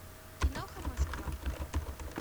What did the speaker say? киноха москва